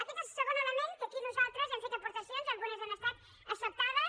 aquest és el segon element que aquí nosaltres hi hem fet aportacions algunes han estat acceptades